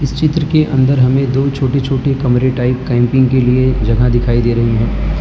चित्र के अंदर हमें दो छोटे छोटे कमरे टाइप कैंपिंग के लिए जगह दिखाई दे रही है।